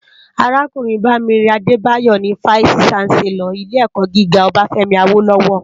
Arákúrìn Bamire Adebayo ni fáìsí ṣánsèlòr ilé èkò gigá Obafemi Awolowo